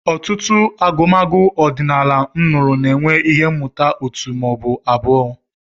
Ọtụtụ agụmagụ ọdịnala m nụrụ na-enwe ihe mmụta òtù ma ọ bụ abụọ.